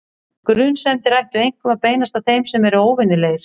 Grunsemdir ættu einkum að beinast að þeim sem eru óvenjulegir.